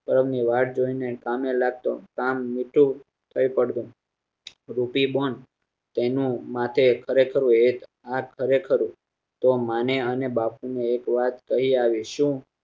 વાત જોઈને કામે લાગતો કામ મૂકી એ પડતો રૂટિબોન્ડ તેનું માટે ખરેખર એક વાત ખરેખર તો મા ને અને બાપુ ને એક વાત કરી આવી શું